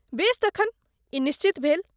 बेस तखन, ई निश्चित भेल।